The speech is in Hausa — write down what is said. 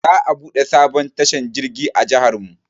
Za a buɗe sabon tashar jirgi a jiharmu.